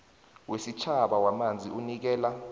wesitjhaba wamanzi unikela